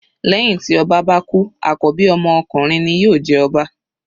Lẹ́hìn tí ọba bá kú àkọ́bí ọmọ ọkunrin ni yóò jẹ ọba.